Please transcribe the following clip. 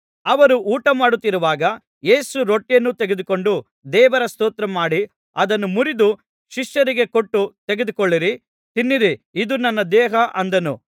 ಅವರು ಊಟಮಾಡುತ್ತಿರುವಾಗ ಯೇಸು ರೊಟ್ಟಿಯನ್ನು ತೆಗೆದುಕೊಂಡು ದೇವರ ಸ್ತೋತ್ರ ಮಾಡಿ ಅದನ್ನು ಮುರಿದು ಶಿಷ್ಯರಿಗೆ ಕೊಟ್ಟು ತೆಗೆದುಕೊಳ್ಳಿರಿ ತಿನ್ನಿರಿ ಇದು ನನ್ನ ದೇಹ ಅಂದನು